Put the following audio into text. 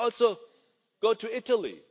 idea. You could also go to Italy.